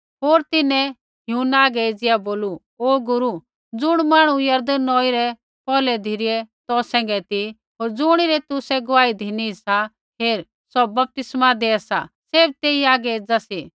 होर तिन्हैं यूहन्ना हागै एज़िया बोलू ओ गुरू ज़ुण मांहणु यरदन नौई रै पौरलै धिरै तौ सैंघै ती होर ज़ुणिरी तुसै गुआही धिनी सा हेर सौ बपतिस्मा देआ सा सैभ तेई आगै एज़ा सा